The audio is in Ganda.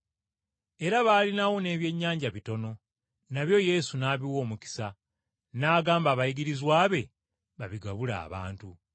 Era baalina wo n’ebyennyanja bitono, nabyo Yesu n’abiwa omukisa n’agamba abayigirizwa be babigabule abantu.